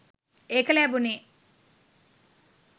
ඒක ලැබුනෙ